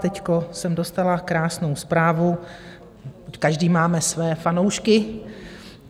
Teď jsem dostala krásnou zprávu, každý máme své fanoušky.